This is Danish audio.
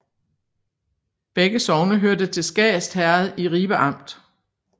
Begge sogne hørte til Skast Herred i Ribe Amt